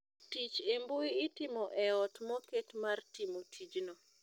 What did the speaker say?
Tich e mbui itimo e ot moket mar timo tijno